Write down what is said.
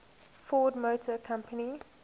ford motor company